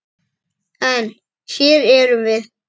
En. hér erum við.